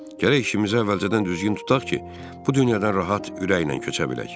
Gərək işimizi əvvəlcədən düzgün tutaq ki, bu dünyadan rahat ürəklə köçə bilək.